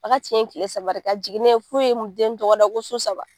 A ka tin ye tile sabari kɛ a jiginnen f'u ye den tɔgɔ da ko su saba.